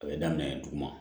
A bɛ daminɛ duguma